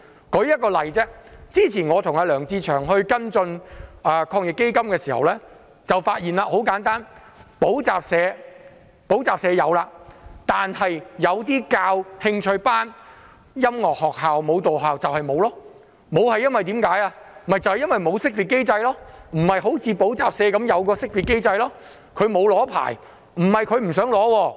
我舉一個例子，我與梁志祥議員之前跟進防疫抗疫基金的事宜時，發現補習社獲得資助，但教授興趣班、音樂學校和舞蹈學校則未能獲得資助，因為這些行業不像補習社般有識別機制，他們沒有領取牌照。